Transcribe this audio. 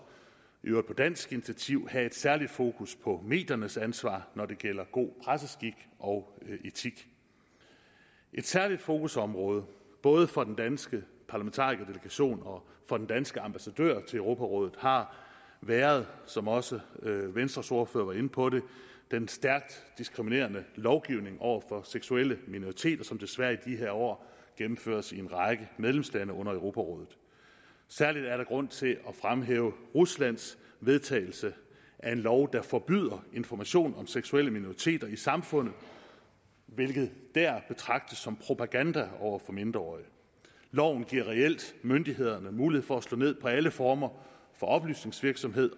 i øvrigt på dansk initiativ have et særligt fokus på mediernes ansvar når det gælder god presseskik og etik et særligt fokusområde både for den danske parlamentarikerdelegation og for den danske ambassadør ved europarådet har været som også venstres ordfører var inde på det den stærkt diskriminerende lovgivning over for seksuelle minoriteter som desværre i de her år gennemføres i en række medlemslande under europarådet særligt er der grund til at fremhæve ruslands vedtagelse af en lov der forbyder information om seksuelle minoriteter i samfundet hvilket dér betragtes som propaganda over for mindreårige loven giver reelt myndighederne mulighed for at slå ned på alle former for oplysningsvirksomhed